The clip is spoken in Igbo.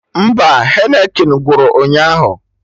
Mba, Heineken gwụrụ ụnyaahụ